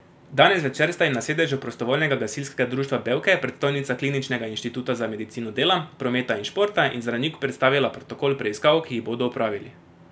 Danes zvečer sta jim na sedežu Prostovoljnega gasilskega društva Bevke predstojnica Kliničnega inštituta za medicino dela, prometa in športa in zdravnik predstavila protokol preiskav, ki jih bodo opravili.